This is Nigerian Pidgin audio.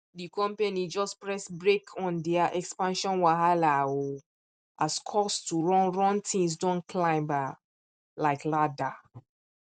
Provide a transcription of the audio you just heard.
di company just press brake on their expansion wahala um as cost to run run things don climb um like ladder